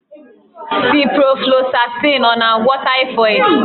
Ciproflosasịn ọ na-agwọ taịfọdụ?